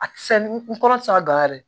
A ti se n kɔrɔ ti se ka gangan yɛrɛ